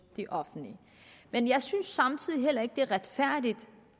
det offentlige men jeg synes samtidig heller ikke det er retfærdigt